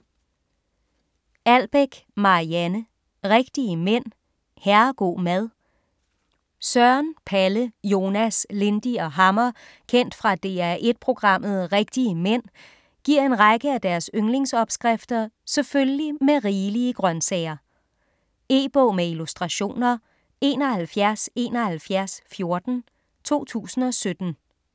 Albeck, Marianne: Rigtige mænd - herrego' mad Søren, Palle, Jonas, Lindy og Hammer kendt fra DR1 programmet "Rigtige mænd" giver en række af deres yndlingsopskrifter selvfølgelig med rigelige grønsager. E-bog med illustrationer 717114 2017.